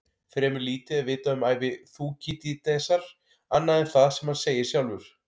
Fremur lítið er vitað um ævi Þúkýdídesar annað en það sem hann segir sjálfur.